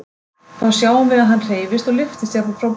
Þá sjáum við að hann hreyfist og lyftist jafnvel frá borðinu.